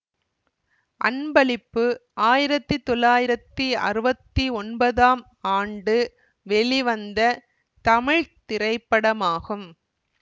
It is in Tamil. அன்பளிப்பு ஆயிரத்தி தொள்ளாயிரத்தி அறுவத்தி ஒன்பதாம் ஆண்டு வெளிவந்த தமிழ் திரைப்படமாகும்